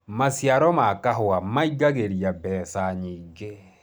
maciaro ma kahũa maĩngagiria mbeca nyingi